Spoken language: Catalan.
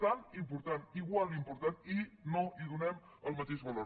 tan important igual d’important i no hi donem el mateix valor